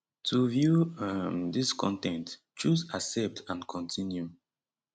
to view um dis con ten t choose accept and continue